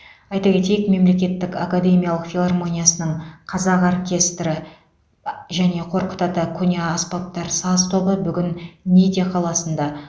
айта кетейік мемлекеттік академиялық филармониясының қазақ оркестрі мен қорқыт ата көне аспаптар саз тобы бүгін ниде қаласында